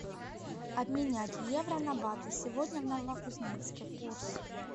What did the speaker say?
обменять евро на баты сегодня в новокузнецке курс